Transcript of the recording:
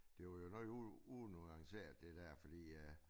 Det var jo noget unuanceret det der fordi øh